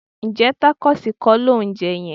Ǹjẹ́ tákóòsì kọ́ lò ń jẹ yẹn?